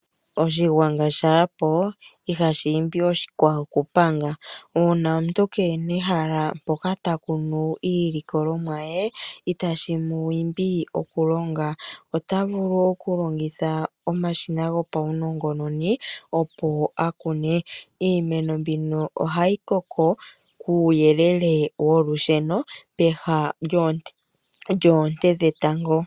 Oshingwana shapo ihashimbi oshikwawo okupanga, una omuntu kena ehala poka takunu iilikolomwa ye itashi mu imbi okulonga, otavulu okulongitha omashina gopawunongononi opo akune, iimeno mbino ohayi koko kuyelele wolusheno peha lyonte dhetango.